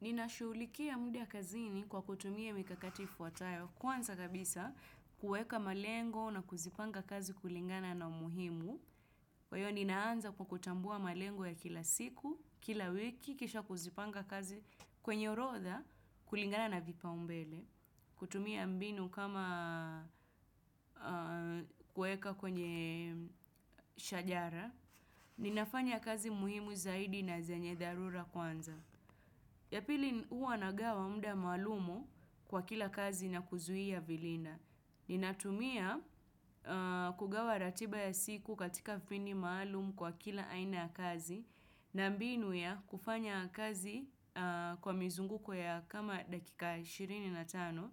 Ninashuhulikia muda kazini kwa kutumia mikakatifu ifuatayo kwanza kabisa kueka malengo na kuzipanga kazi kulingana na umuhimu. Kwa hiyo ninaanza kwa kutambua malengo ya kila siku, kila wiki, kisha kuzipanga kazi kwenye orotha kulingana na vipaumbele, kutumia mbinu kama kueka kwenye shajara. Ninafanya kazi muhimu zaidi na zenye dharura kwanza. Ya pili huwa nagawa mda maalumu kwa kila kazi na kuzuia vilina. Ninatumia kugawa ratiba ya siku katika vini maalumu kwa kila aina ya kazi na mbinu ya kufanya kazi kwa mizunguko ya kama dakika ishirini na tano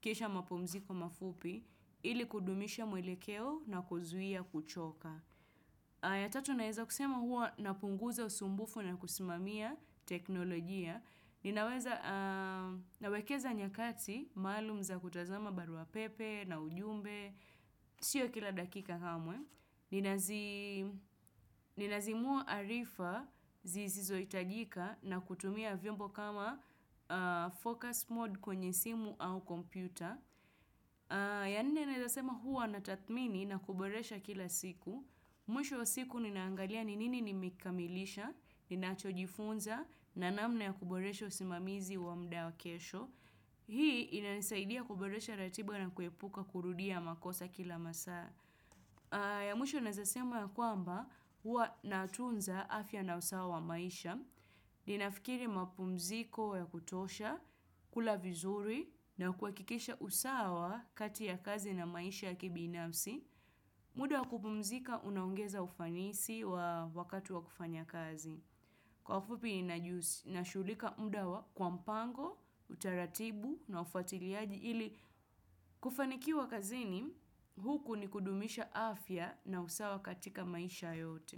kisha mapumziko mafupi ili kudumisha mwelekeo na kuzuia kuchoka. Ya tatu naeza kusema hua napunguza usumbufu na kusimamia teknolojia. Ninaweza nawekeza nyakati, maalum za kutazama barua pepe na ujumbe, sio kila dakika hamwe. Ninazi Ninazimua arifa zizizo hitajika na kutumia vyombo kama focus mode kwenye simu au kompyuta. Ya nne naeza sema huwa natathmini na kuboresha kila siku mwisho wa siku ninaangalia ni nini nimekamilisha ninacho jifunza na namna ya kuboresha usimamizi wa mda wa kesho Hii ina nisaidia kuboresha ratiba na kuepuka kurudia makosa kila masaa. Ya mwisho naezasema ya kwamba huwa natunza afya na usawa wa maisha Ninafikiri mapumziko ya kutosha, kula vizuri na kuhakikisha usawa kati ya kazi na maisha ya kibinafsi, muda kupumzika unaongeza ufanisi wa wakati wa kufanya kazi. Kwa ufupi najihuhushi nashuhulika muda wa kwa mpango, utaratibu na ufatiliaji ili kufanikiwa kazini, huku ni kudumisha afya na usawa katika maisha yote.